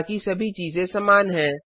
बाकी सभी चीजें समान हैं